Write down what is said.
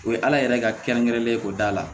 O ye ala yɛrɛ ka kɛrɛnkɛrɛnnen ko da la